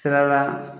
Sira la